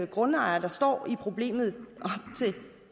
grundejere der står i problemet til